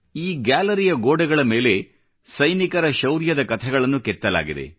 ಈ ಗ್ಯಾಲರಿಯ ಗೋಡೆಗಳ ಮೇಲೆ ಸೈನಿಕರ ಶೌರ್ಯದ ಕಥೆಗಳನ್ನು ಕೆತ್ತಲಾಗಿದೆ